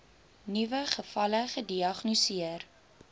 nuwe gevalle gediagnoseer